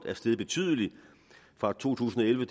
steget betydeligt fra to tusind og elleve